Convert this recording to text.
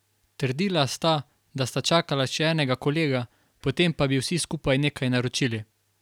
Trdila sta, da sta čakala še enega kolega, potem pa bi vsi skupaj nekaj naročili.